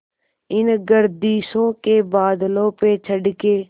इन गर्दिशों के बादलों पे चढ़ के